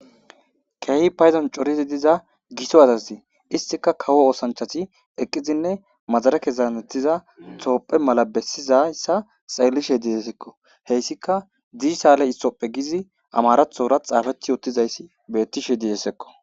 Keehi payzan corizi diza giso azazi istika kawo oosanchati eqqizinne madara kezanettiza toophe mala bessizayssa xaellishe diessekko heyssika diisale issoppe gizi amarathora xaafethi ottizayssi bettishe diidessekko.